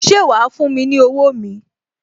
Ṣé wa fún mi ní owó mi?